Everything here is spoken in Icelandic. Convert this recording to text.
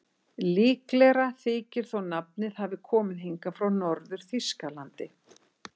Líklegra þykir þó að nafnið hafi komið hingað frá Norður-Þýskalandi.